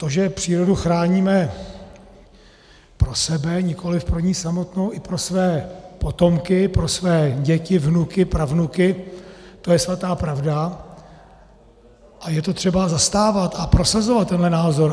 To, že přírodu chráníme pro sebe, nikoliv pro ni samotnou, i pro své potomky, pro své děti, vnuky, pravnuky, to je svatá pravda a je to třeba zastávat a prosazovat tenhle názor.